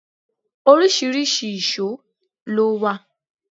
Oríṣiríṣi ìṣó ló wà.